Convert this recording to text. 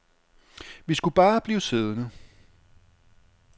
Vi skulle bare blive siddende.